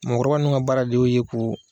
Mɔɔkɔrɔba nun ŋa baara de y'o ye k'uu